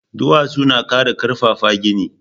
Duwatsu na ƙara ƙarfafa gini